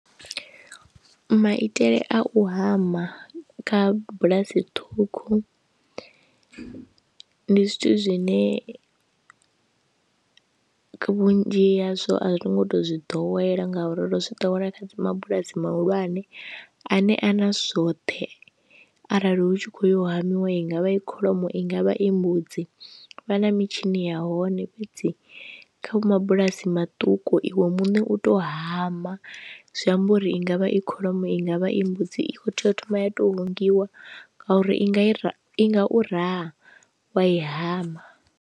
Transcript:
Maitele a u hama kha bulasi ṱhukhu, ndi zwithu zwine vhunzhi hazwo a zwi ngo to zwi ḓowela ngauri ri zwi ḓowela kha mabulasi mahulwane ane a na zwoṱhe arali hu tshi kho yo hamiwa i ngavha i kholomo i ngavha i mbudzi vha na mitshini ya hone, fhedzi kha mabulasi maṱuku iwe muṋe u tou hama zwi amba uri i ngavha i kholomo i ngavha i mbudzi i kho tea u thoma ya tou hungwiwa ngauri i nga i i nga u raha wa i hama.